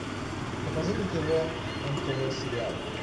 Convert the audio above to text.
покажи на тв нтв сериал